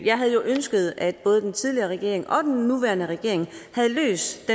jeg havde jo ønsket at både den tidligere regering og den nuværende regering havde løst